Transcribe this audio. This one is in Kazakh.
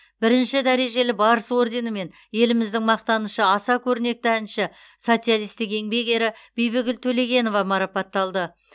бірінші дәрежелі барыс орденімен еліміздің мақтанышы аса көрнекті әнші социалистік еңбек ері бибігүл төлегенова марапатталды